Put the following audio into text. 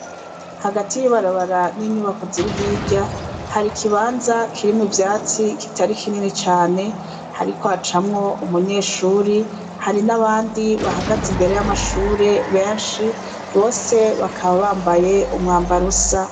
Hagati y'ibarabara n'inyubako ziri hirya hari ikibanza kirimwo ivyatsi kitari kinini cane hariko hacamwo umunyeshuri hari n'abandi bahagaze imbere y'amashure benshi bose bakaba bambaye umwambarusa.